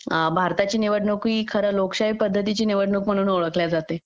भारताची निवडणूक ही खरी लोकशाही पद्धतीची म्हणून ओळखल्या जाते